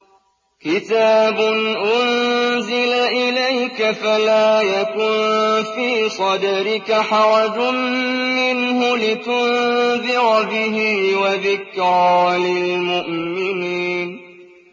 كِتَابٌ أُنزِلَ إِلَيْكَ فَلَا يَكُن فِي صَدْرِكَ حَرَجٌ مِّنْهُ لِتُنذِرَ بِهِ وَذِكْرَىٰ لِلْمُؤْمِنِينَ